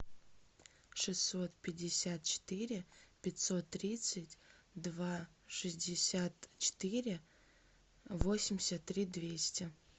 шестьсот пятьдесят четыре пятьсот тридцать два шестьдесят четыре восемьдесят три двести